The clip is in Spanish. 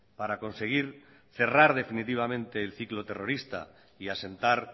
para conseguir cerrar definitivamente el ciclo terrorista y asentar